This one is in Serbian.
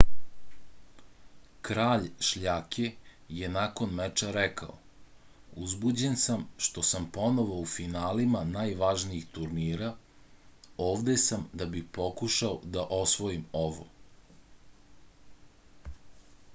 kralj šljake je nakon meča rekao uzbuđen sam što sam ponovo u finalima najvažnijih turnira ovde sam da bih pokušao da osvojim ovo